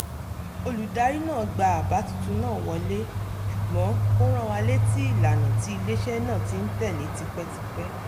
olùdarí náà gba àbá tuntun náà wọlé ṣùgbọ́n ó rán wa létí ìlànà tí ilé-iṣẹ́ náà ti ń tẹ̀lé tipẹ́tipẹ́